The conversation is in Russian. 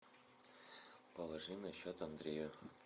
положи на счет андрея